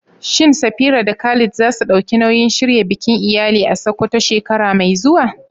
Shin Safira da Khalid za su ɗauki nauyin shirya bikin iyali a Sakkwato shekara mai zuwa?